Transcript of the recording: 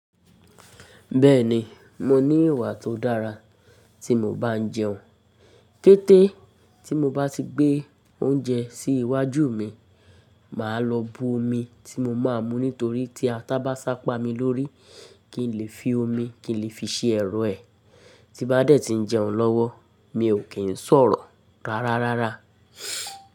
Bẹ́ẹ̀ni, mo ní ìwà tó dára tí mo bá ń jẹun. Kété tí mo bá ti gbé oúnjẹ sí iwájú mi, mà á lọ bu omi tí mo máa mu nítorí tí ata bá sábà pa mi lórí kí n lè fi omi kí n lè fi ṣe ẹ̀rọ̀ ẹ̀. Tí bá dẹ́ ti ń jẹun lọ́wọ́ mi ò kí ń sọ̀rọ̀ rárárára.